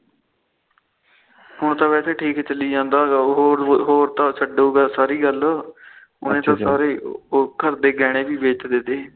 ਹੁਣ ਤਾ ਵੇਸੇ ਠੀਕ ਚੱਲੀ ਜਾਂਦਾ ਹੋਰ ਹੋਰ ਛੱਡੋ ਸਾਰੀ ਗੱਲ ਉਹਨੇ ਤਾ ਸਾਰੇ ਘਰ ਦੇ ਗਹਿਣੇ ਵੀ ਵੇਚ ਦਿੱਤੇ